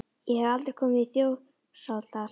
Ég hef aldrei komið í Þjórsárdal, Týri.